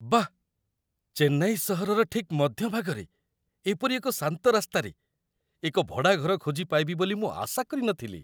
ବାଃ! ଚେନ୍ନାଇ ସହରର ଠିକ୍ ମଧ୍ୟଭାଗରେ ଏପରି ଏକ ଶାନ୍ତ ରାସ୍ତାରେ ଏକ ଭଡ଼ାଘର ଖୋଜି ପାଇବି ବୋଲି ମୁଁ ଆଶା କରି ନଥିଲି।